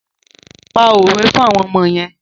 Pa òwe fún àwọn ọmọ yẹn.